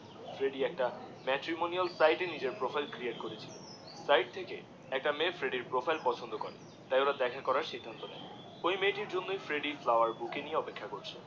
Freddie একটা matrimonial site এ নিজের প্রোফাইল ক্রিয়েট করেছিল সাইট থী একটি মেয়ে ফ্রেডির প্রোফাইল পছন্দ করে তাই ওরা দেখা করার সিদ্ধান্ত নেয় ওই মেয়েটির জন্যেই ফ্রেডি ফ্লাওয়ার বুকে নিয়ে অপেক্ষা করছে